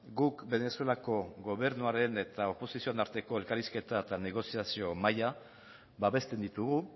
guk venezuelako gobernuaren eta oposizioaren arteko elkarrizketa eta negoziazio maila babesten ditugu